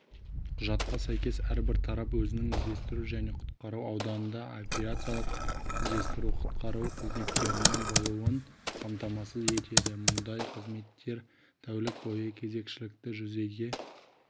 құжатқа сәйкес әрбір тарап өзінің іздестіру және құтқару ауданында авиациялық іздестіру-құтқару қызметтерінің болуын қамтамасыз етеді мұндай қызметтер тәулік бойы кезекшілікті жүзеге